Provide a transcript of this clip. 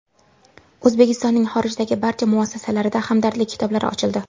O‘zbekistonning xorijdagi barcha muassasalarida hamdardlik kitoblari ochildi.